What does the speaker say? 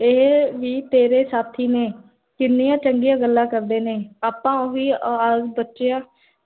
ਇਹ ਵੀ, ਤੇਰੇ ਸਾਥੀ ਨੇ ਕਿੰਨੀਆਂ ਚੰਗੀਆਂ ਗੱਲਾਂ ਕਰਦੇ ਨੇ ਆਪਾਂ, ਓਹੀ ਆਵਾਜ਼ ਬਚਿਆਂ